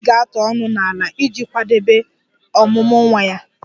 Ewii ga-atụ ọnụ n'ala iji kwadebe ọmụmụ nwa ya.